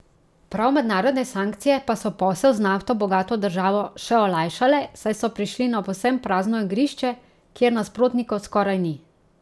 Prav mednarodne sankcije pa so posel z nafto bogato državo še olajšale, saj so prišli na povsem prazno igrišče, kjer nasprotnikov skoraj ni.